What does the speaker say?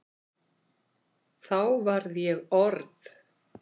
Þá var ég orð